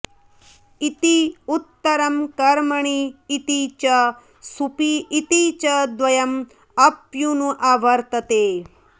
इति उत्तरं कर्मणि इति च सुपि इति च द्वयम् अप्यनुअवर्तते